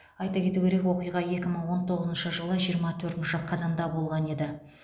айта кету керек оқиға екі мың он тоғызыншы жылы жиырма төртінші қазанда болған еді